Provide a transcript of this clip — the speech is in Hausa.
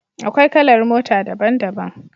Akwai kalar mota daban-daban.